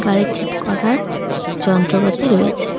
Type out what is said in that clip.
গাড়ি ঠিক করার যন্ত্রপাতি রয়েছে।